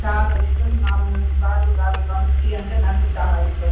చాలా ఇస్టం మూడు నాలుగు సార్లు తాగుతాను నాకు టి అంటే చాలా ఇస్టం.